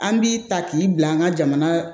An b'i ta k'i bila an ka jamana